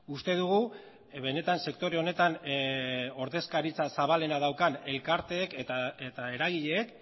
uste dugu benetan sektore honetan ordezkaritza zabalena daukan elkarteek eta eragileek